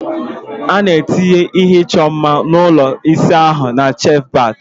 A na-etinye ihe ịchọ mma ụlọ ịsa ahụ na shelf bat